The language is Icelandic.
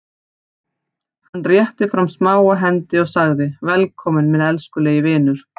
Hann rétti fram smáa hendi og sagði:-Velkominn minn elskulegi vinur.